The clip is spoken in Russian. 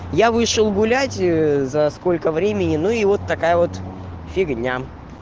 я вышел гулять ээ за сколько времени ну и вот такая вот фигня